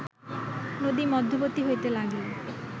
নদী-মধ্যবর্ত্তী হইতে লাগিল